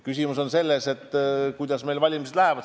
Küsimus on selles, kuidas valimised lähevad.